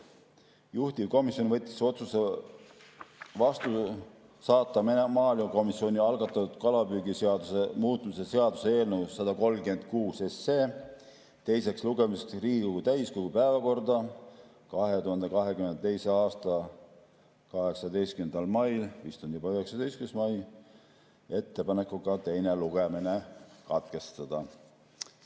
Juhtivkomisjon võttis vastu otsuse saata maaelukomisjoni algatatud kalapüügiseaduse muutmise seaduse eelnõu 136 teiseks lugemiseks Riigikogu täiskogu päevakorda 2022. aasta 18. mail – nüüd vist on juba 19. mai – ettepanekuga teine lugemine katkestada.